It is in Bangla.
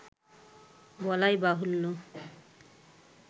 বলাইবাহুল্য